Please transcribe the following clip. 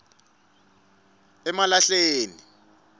emalahleni